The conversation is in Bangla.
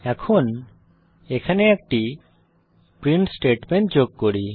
এখন এখানে একটি প্রিন্ট স্টেটমেন্ট যোগ করি